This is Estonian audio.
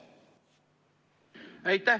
Aitäh!